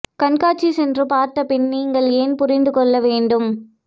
கண்காட்சி சென்று பார்த்த பின் நீங்கள் ஏன் புரிந்து கொள்ள வேண்டும்